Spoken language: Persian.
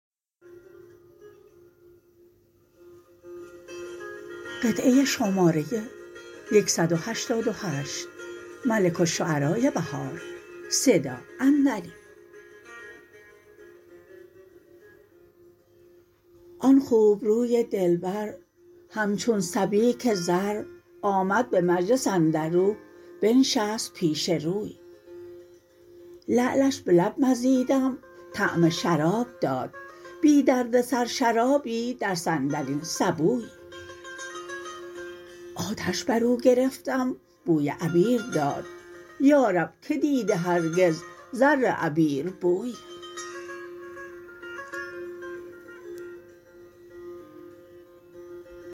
آن خوبروی دلبر همچون سبیک زر آمد به مجلس اندرو بنشست پیش روی لعلش به لب مزیدم طعم شراب داد بی دردسر شرابی در صندلین سبوی آتش بر او گرفتم بوی عبیر داد یارب که دیده هرگز زر عبیر بوی